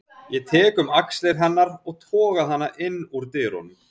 Ég tek um axlir hennar og toga hana inn úr dyrunum.